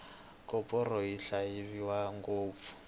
koporo yi xavisiwa ngopfu